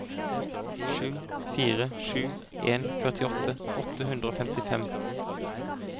sju fire sju en førtiåtte åtte hundre og femtifem